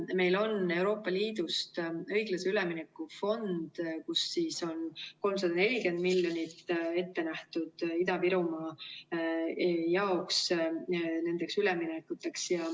Meil on Euroopa Liidus õiglase ülemineku fond, kust on 340 miljonit ette nähtud Ida-Virumaale nendeks üleminekuteks.